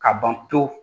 Ka ban pewu